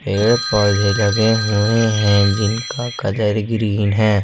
पेड़ पौधे लगे हुए हैं जिनका कलर ग्रीन है।